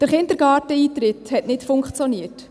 Der Kindergarteneintritt hat nicht funktioniert.